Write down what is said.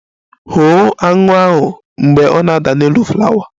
Hụ aṅụ ahụ mgbe ọ na-ada n'elu flawa!